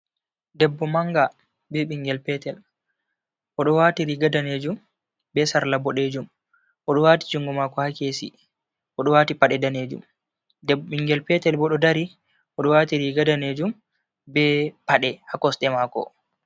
Debbo manga be ɓingel petel odo wati riga danejum be sarla boɗejum oɗo wati jungo mako ha kesi bo oɗo wati pade danejum, denbo ɓingel petel bo ɗo dari oɗo wati riga danejum be paɗe ha kosɗe mako.